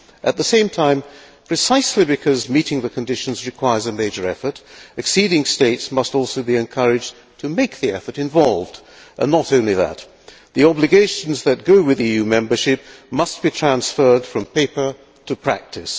At the same time, precisely because meeting the conditions requires a major effort, acceding states must also be encouraged to make the effort involved and not only that. The obligations that go with EU membership must be transferred from paper to practice.